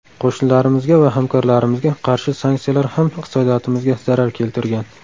Qo‘shnilarimizga va hamkorlarimizga qarshi sanksiyalar ham iqtisodiyotimizga zarar keltirgan.